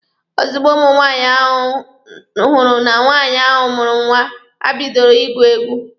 Ozugbo ụmụ nwaanyị hụrụ na nwaanyị ahụ mụrụ nwa, ha bidoro ịgụ egwu.